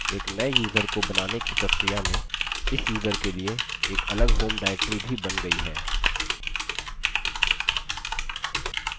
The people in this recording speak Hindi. एक नये यूज़र को बनाने की प्रक्रिया में इस यूज़र के लिए एक अलग home directory भी in गयी है